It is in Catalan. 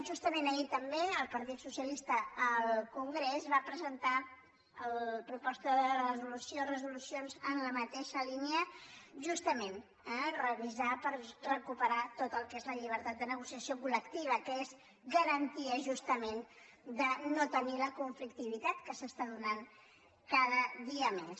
justament ahir també el partit socialista al congrés va presentar propostes de reso·lució o resolucions en la mateixa línia justament eh revisar per recuperar tot el que és la llibertat de ne·gociació coltenir la conflictivitat que s’està donant cada dia més